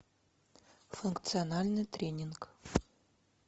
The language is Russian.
функциональный тренинг